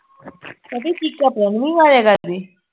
ਭਾਭੀ ਚੀਕਾਂ ਪ੍ਰਨਵੀ ਮਾਰਿਆ ਕਰਦੀ